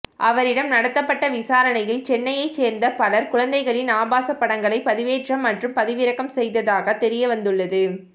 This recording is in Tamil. அவரிடம் நடத்தப்பட்ட விசாரணையில் சென்னையை சேர்ந்த பலர் குழந்தைகளின் ஆபாச படங்களை பதிவேற்றம் மற்றும் பதிவிறக்கம் செய்ததாக தெரியவந்துள்ளது